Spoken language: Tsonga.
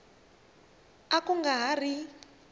a ku nga ha ri